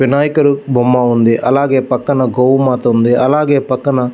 వినాయకుడు బొమ్మ ఉంది అల్లాగే పక్కన గో మాత ఉంది అలాగే పక్కన --